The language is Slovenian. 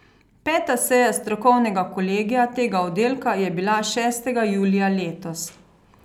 Peta seja strokovnega kolegija tega oddelka je bila šestega julija letos.